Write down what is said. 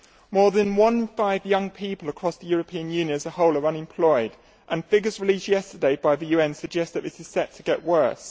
More than one in five young people across the European Union as a whole are unemployed and figures released yesterday by the UN suggest that this is set to get worse.